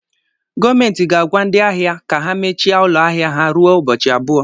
Gọọmentị ga-agwa ndị ahịa ka ha mechie ụlọ ahịa ha ruo ụbọchị abụọ